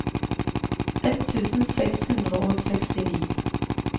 ett tusen seks hundre og sekstini